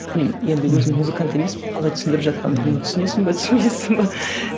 мен енді өзім музыкант емеспін қалай түсіндіріп жатқанымды түсінесің бе түсінбейсің бе